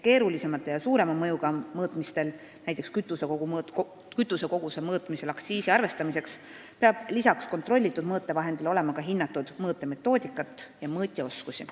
Keerulisemate ja suurema mõjuga mõõtmistel, näiteks kütusekoguse mõõtmisel aktsiisi arvestamiseks, peab lisaks kontrollitud mõõtevahendile olema ka hinnatud mõõtmise metoodikat ja mõõtja oskusi.